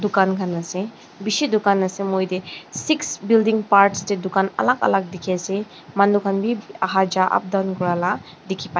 dukan khan ase bishih dukan se moite six building parts te tu alag alag dekhi ase manu khan bhi aha jua up down koralaka dekhi pai ase.